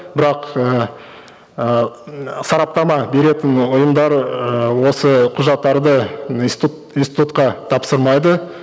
бірақ ііі ыыы м сараптама беретін ұйымдар ыыы осы құжаттарды институт институтқа тапсырмайды